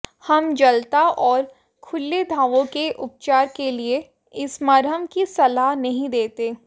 हम जलता और खुले घावों के उपचार के लिए इस मरहम की सलाह नहीं देते